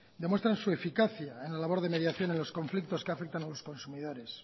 demuestra su eficacia en la labor de mediación en los conflictos que afectan a los consumidores